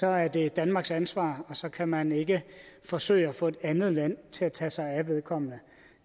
er det danmarks ansvar og så kan man ikke forsøge at få et andet land til at tage sig af vedkommende